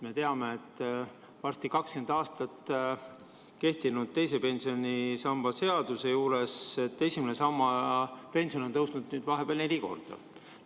Me teame, et varsti 20 aastat kehtinud teise pensionisamba seaduse ajal on esimese samba pension tõusnud vahepeal neli korda.